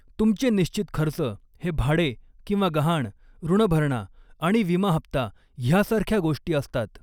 तुमचे निश्चित खर्च हे भाडे किंवा गहाण, ऋण भरणा आणि विमा हप्ता ह्यासारख्या गोष्टी असतात.